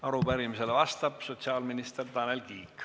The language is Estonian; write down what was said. Arupärimisele vastab sotsiaalminister Tanel Kiik.